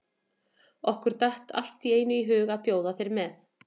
Okkur datt allt í einu í hug að bjóða þér með.